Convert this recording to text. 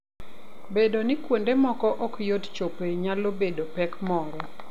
Bedo ni kuonde moko ok yot chopoe nyalo bedo pek moro.